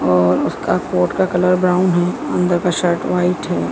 और उसका कोट का कलर ब्राउन है अन्दर का शर्ट व्हाइट है।